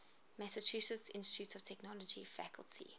massachusetts institute of technology faculty